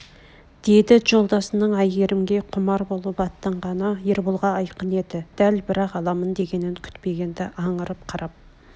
деді жолдасының әйгерімге құмар болып аттанғаны ерболға айқын еді дәл бірақ аламын дегенін күтпегенді аңырып қарап